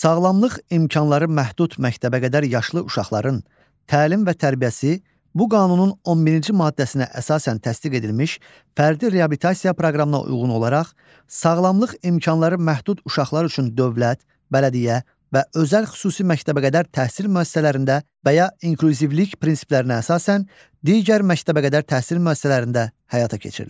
Sağlamlıq imkanları məhdud məktəbəqədər yaşlı uşaqların təlim və tərbiyəsi bu qanunun 11-ci maddəsinə əsasən təsdiq edilmiş fərdi reabilitasiya proqramına uyğun olaraq, sağlamlıq imkanları məhdud uşaqlar üçün dövlət, bələdiyyə və özəl xüsusi məktəbəqədər təhsil müəssisələrində və ya inklüzivlik prinsiplərinə əsasən digər məktəbəqədər təhsil müəssisələrində həyata keçirilir.